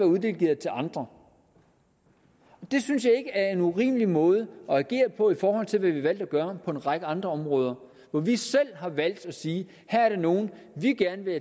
uddelegeret til andre det synes jeg ikke er en urimelig måde at agere på i forhold til hvad vi har valgt at gøre på en række andre områder hvor vi selv har valgt at sige at her er der nogle vi gerne vil